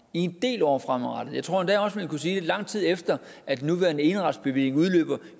i en del år fremadrettet og jeg tror endda også man kunne sige i lang tid efter at den nuværende eneretsbevilling udløber